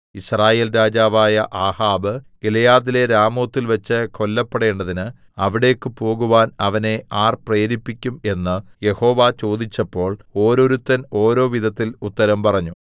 യിസ്രായേൽ രാജാവായ ആഹാബ് ഗിലെയാദിലെ രാമോത്തിൽ വച്ച് കൊല്ലപ്പെടേണ്ടതിന് അവിടേക്കു പോകാൻ അവനെ ആർ പ്രേരിപ്പിക്കും എന്ന് യഹോവ ചോദിച്ചപ്പോൾ ഓരോരുത്തർ ഓരോ വിധത്തിൽ ഉത്തരം പറഞ്ഞു